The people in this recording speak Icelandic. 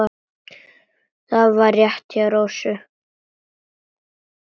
Það var rétt hjá Rósu.